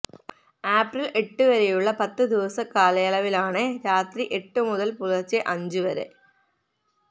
April എട്ട് വരെയുള്ള പത്ത് ദിവസ കാലയളവിലാണ് രാത്രി എട്ടു മുതൽ പുലർച്ചെ അഞ്ച് വരെ വ